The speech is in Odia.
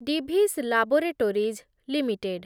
Divi's laboratories limited